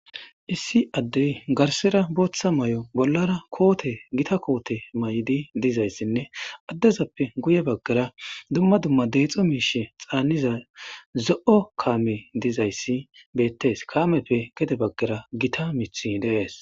Issi addey garsera booththa may7o bollara koote gita koote may7di dizayssinne addezappe guye baggara dumma dumma deexo miishe xaanniza zo7o kaame dizayssi beettes kaameppe gede baggara gita mith deees.